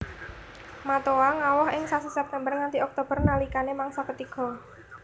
Matoa ngawoh ing sasi September nganti Oktober nalikane mangsa ketiga